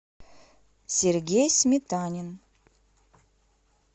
сергей сметанин